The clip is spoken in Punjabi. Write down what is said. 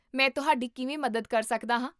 ਮੈਂ ਤੁਹਾਡੀ ਕਿਵੇਂ ਮਦਦ ਕਰ ਸਕਦਾ ਹਾਂ?